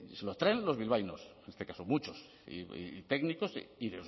artes que se lo traen los bilbaínos en este caso muchos y técnicos y